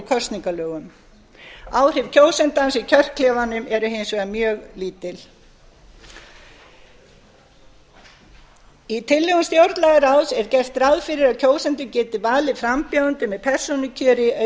kosningalögum áhrif kjósandans í kjörklefanum eru hins vegar mjög lítil í tillögum stjórnlagaráðs er gert ráð fyrir að kjósandi geti valið frambjóðanda með persónukjöri